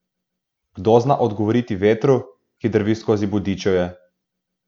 Kdo zna odgovoriti vetru, ki drvi skozi bodičevje?